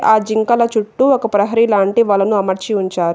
ఆ జింకల చుట్టూ ఒక ప్రహరీ లాంటి వలను అమర్చి ఉంచారు.